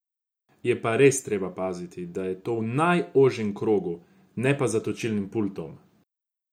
Je pa res treba paziti, da je to v najožjem krogu, ne pa za točilnim pultom.